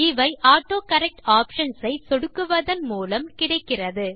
இவை autocorrect options ஐ சொடுக்குவதன் மூலம் கிடைக்கிறது